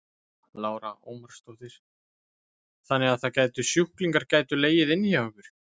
Lára Ómarsdóttir: Þannig að það gætu sjúklingar gætu legið inni hjá ykkur?